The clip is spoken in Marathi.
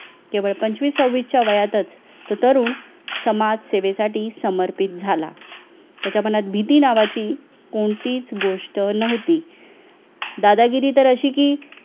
केवळ पंचवीस सव्वीस च्या वयातच तो तरुण समाजसेवेसाठी समर्पित झाला त्याच्या मनात भीती नावाची कोणतीच गोष्ट नव्हती दादागिरी तर अशी की